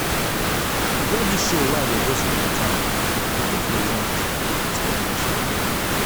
e get dis show wey i dey host for my town if you want you go fit come watch me